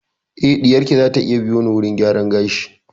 Eh ɗiyar ki zata iya biyo ni wurin gyaran gashi